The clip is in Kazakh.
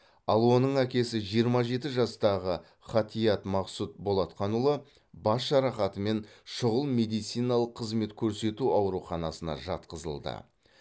ал оның әкесі жиырма жеті жастағы ғатиат мақсұт болатқанұлы бас жарақатымен шұғыл медициналық қызмет көрсету ауруханасына жатқызылды